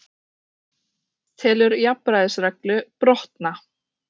Það verður að sönnu ekkert gleðiefni